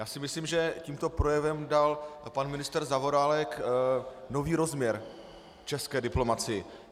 Já si myslím, že tímto projevem dal pan ministr Zaorálek nový rozměr české diplomacii.